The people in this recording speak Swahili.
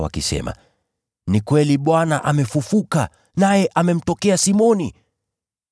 wakisema, “Ni kweli! Bwana amefufuka, naye amemtokea Simoni.”